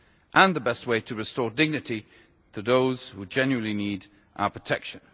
And the best way to restore dignity to those who genuinely need our protection.